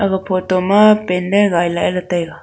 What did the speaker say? aga photo ma pandal gaila ee ley taiga.